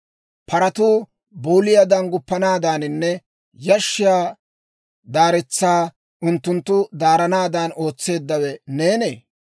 Paratuu booliyaadan guppanaadaaninne yashshiyaa daaretsaa unttunttu daaranaadan ootseeddawe neenee?